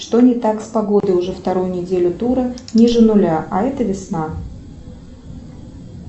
что не так с погодой уже вторую неделю тура ниже нуля а это весна